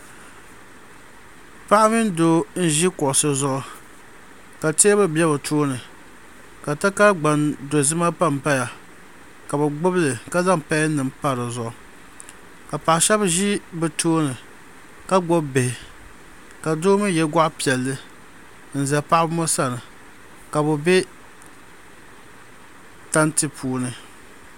Paɣa mini doo n zi kuɣusi zuɣu ka tɛɛbuli bɛ bi tooni ka takara gbaŋ dozima pa n paya ka bi gbubi li ka zaŋ pɛn nima mpa di zuɣu ka paɣa shɛba zi bi tooni ka gbubi bihi ka doo mi ye gɔɣi piɛlli n za paɣaba ŋɔ sani ka bi bɛ tanti puuni.